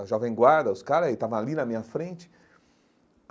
A Jovem Guarda, os caras, eles estavam ali na minha frente.